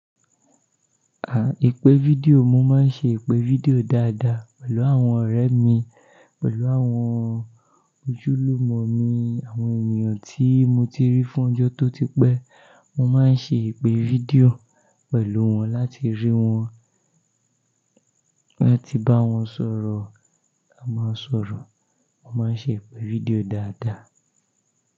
À, ìpè fídíò, mo máa ń ṣe ìpè fídíò dáadáa pẹ̀lú àwọn ọ̀rẹ́ mi, pẹ̀lú àwọn ojúlùmọ̀ mi, àwọn ènìyàn tí mo ti rí fún ọjọ́ tó ti pẹ́. Mo máa ń ṣe ìpè fídíò pẹ̀lú wọn láti rí wọn, láti bá wọn sọ̀rọ̀, a máa ń sọ̀rọ̀. Mo máa ń ṣe ìpè fídíò dáadáa.